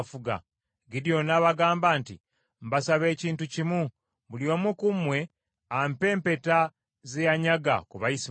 Gidyoni n’abagamba nti, “Mbasaba ekintu kimu; buli omu ku mmwe ampe empeta ze yanyaga ku Bayisimayiri.”